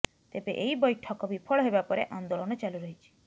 ତେବେ ଏହି ବୈଠକ ବିଫଳ ହେବା ପରେ ଆନ୍ଦୋଳନ ଚାଲୁ ରହିଛି